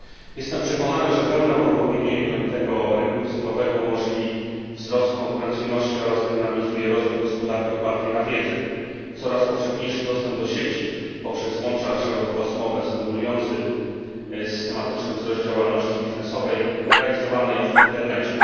Jestem przekonany, że pełne uruchomienie jednolitego rynku cyfrowego umożliwi wzrost konkurencyjności oraz zdynamizuje rozwój gospodarki opartej na wiedzy. Coraz powszechniejszy dostęp do sieci poprzez łącza szerokopasmowe stymuluje systematyczny wzrost działalności biznesowej realizowanej w internecie.